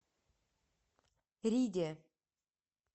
риде